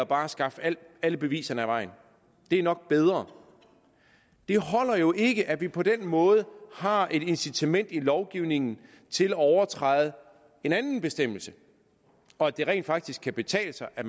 bare at skaffe alle beviserne af vejen det er nok bedre det holder jo ikke at vi på den måde har et incitament i lovgivningen til at overtræde en anden bestemmelse og at det rent faktisk kan betale sig at